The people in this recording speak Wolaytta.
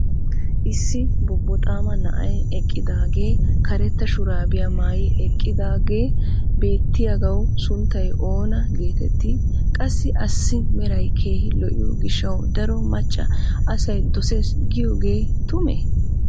issi bobboxaama na"ay eqqidaagee karetta shuraabiyamaayi eqqidaagee beettiyaagawu sunttay oona geetettii? qassi assi meray keehi lo'iyo gishawu daro macca asay dosees giyyogge tumee?